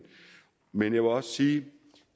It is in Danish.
men jeg vil også sige at